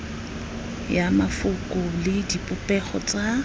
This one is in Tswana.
ya mafoko le dipopego tsa